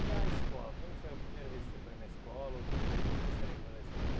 E a escola, como foi a primeira vez que você foi na escola ou como o que é que você lembra da escola?